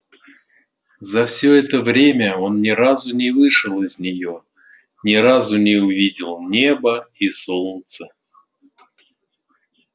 за всё это время он ни разу не вышел из неё ни разу не увидел неба и солнца